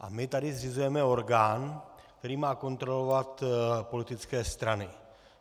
A my tady zřizujeme orgán, který má kontrolovat politické strany.